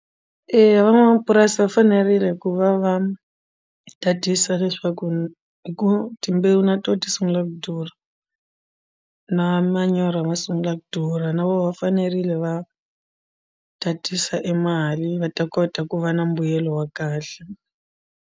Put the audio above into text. Eya van'wamapurasi va fanerile ku va va tatisa leswaku hi ku timbewu na to ti sungula ku durha na manyoro ma sungula ku durha na vona va fanerile va tatisa e mali va ta kota ku va na mbuyelo wa kahle.